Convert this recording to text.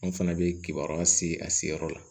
An fana bɛ kibaruya se a seyɔrɔ la